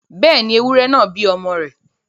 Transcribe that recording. Bẹ́ẹ̀ni, ewúrẹ náà ń bí ọmọ rẹ̀